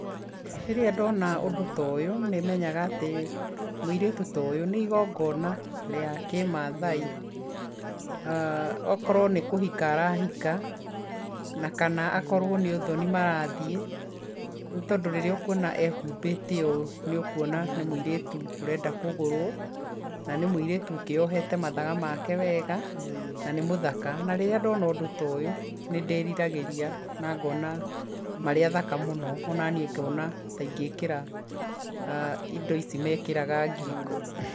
Rĩrĩa ndona ũndũ ta ũyũ nĩmenyaga atĩ mũirĩtu ta ũyũ nĩ igongona rĩa kĩmaathai okorwo nĩ kũhika arahika na kana akorwo ni ũthoni marathiĩ nĩ tondũ rĩrĩa ũkuona ehumbĩte ũũ nĩ ũkuona nĩ mũirĩtu urenda kũgũrũo na nĩ mũirĩtu ũkĩyohete mathaga make wega na nĩ mũthaka. Na rĩrĩa ndona ũndũ ta ũyũ nĩ ndĩriragĩria na ngona marĩ athaka mũno onaniĩ ngona ta ingĩkĩra indo ici mekĩraga ngingo.